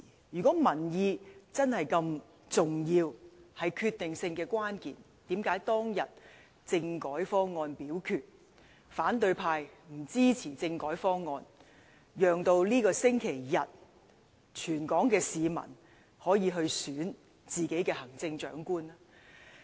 如果民意真的如此重要，是決定性的關鍵，為何當日政改方案表決，反對派不支持政改方案，讓全港市民可以在這個星期日選出行政長官？